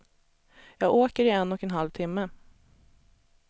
Jag åker i en och en halv timme.